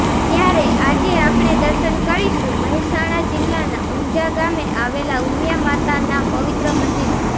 ત્યારે આજે આપણે દર્શન કરીશુ મહેસાણા જિલ્લાના ઉંઝા ગામે આવેલા ઉમિયા માતાના પવિત્ર મંદિરના